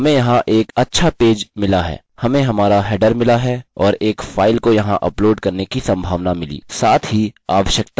हमें हमारा हेडर मिला और एक फाइल को यहाँ अपलोड करने की सम्भावना मिली साथ ही आवश्यकता पड़ने पर खुद से भी टाइप कर सकते हैं